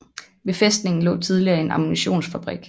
Ved fæstningen lå tidligere en ammunitionsfabrik